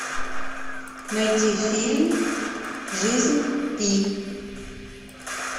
найти фильм жизнь пи